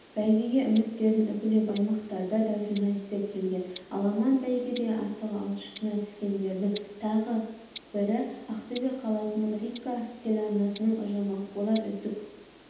бәйгеге үміттерін үкілеп аймақтарда да журналистер келген аламан бәйгеде асығы алшысынан түскендердің тағы бірі ақтөбе қаласының рика теларнасының ұжымы олар үздік